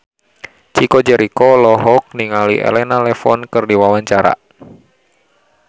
Chico Jericho olohok ningali Elena Levon keur diwawancara